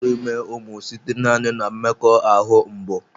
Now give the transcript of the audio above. A na-aturu ime umu site naani na mmekoahu mbụ.